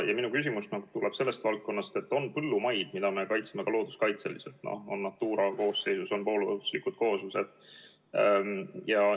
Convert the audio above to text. Ja minu küsimus tuleb sellest valdkonnast, et on põllumaid, mida me peame kaitsma ka looduskaitseliselt, Natura koosseisus on poollooduslikud kooslused.